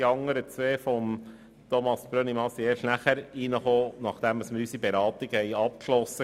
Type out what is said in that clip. Die Planungserklärungen von Grossrat Brönnimann trafen erst nach Abschluss unserer Beratungen ein.